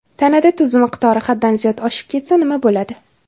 Tanada tuz miqdori haddan ziyod oshib ketsa nima bo‘ladi?.